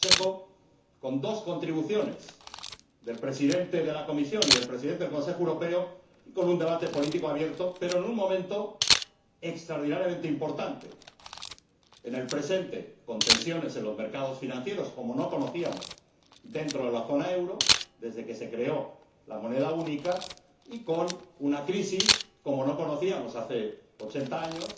Es un Consejo con dos contribuciones, del Presidente de la Comisión y del Presidente del Consejo Europeo, y con un debate político abierto, pero en un momento presente extraordinariamente importante, con tensiones en los mercados financieros como no conocíamos dentro de la zona euro desde que se creó la moneda única y con una crisis como no conocíamos desde hace ochenta años